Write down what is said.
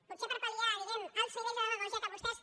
potser per pal·liar diguem·ne alts nivells de demagògia que vostès